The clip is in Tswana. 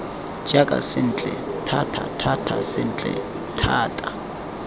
jaaka sentle thatathata sentle thata